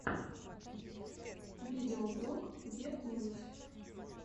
видеоблог гет мувис